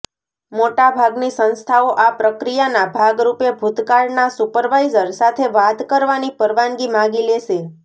મોટા ભાગની સંસ્થાઓ આ પ્રક્રિયાના ભાગ રૂપે ભૂતકાળના સુપરવાઇઝર સાથે વાત કરવાની પરવાનગી માગી લેશે